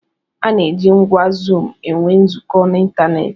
A na-eji ngwá zuum enwe nzukọ n'ịntanetị.